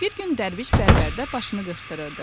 Bir gün Dərviş bərbərdə başını qırxdırırdı.